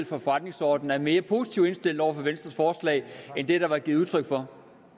for forretningsordenen er mere positivt indstillet over for venstres forslag end det der er givet udtryk for